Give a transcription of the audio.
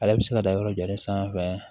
Ale bɛ se ka da yɔrɔ jɔlen sanfɛ